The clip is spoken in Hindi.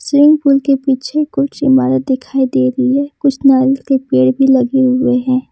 स्विमिंग पूल के पीछे कुछ इमारत दिखाई दे रही हैं कुछ नारियल के पेड़ भी लगे हुए हैं।